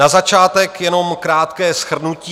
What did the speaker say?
Na začátek jenom krátké shrnutí.